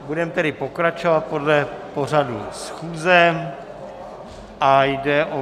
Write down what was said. Budeme tedy pokračovat podle pořadu schůze a jde o